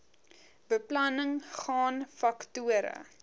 beplanning gaan faktore